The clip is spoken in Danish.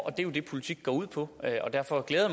er jo det politik går ud på og derfor glæder